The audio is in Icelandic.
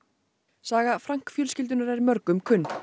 saga fjölskyldunnar er mörgum kunn